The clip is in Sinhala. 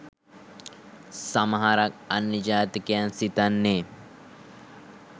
සමහරක් අන්‍ය ජාතිකයන්‍ සිතන්නේ